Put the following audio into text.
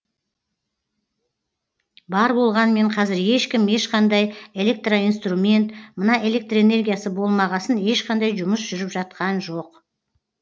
бар болғанмен қазір ешкім ешқандай электроинструмент мына электроэнергиясы болмағасын ешқандай жұмыс жүріп жатқан жоқ